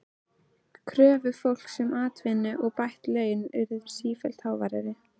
Kröfur fólks um atvinnu og bætt laun urðu sífellt háværari.